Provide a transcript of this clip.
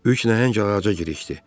Üç nəhəng ağaca girişdi.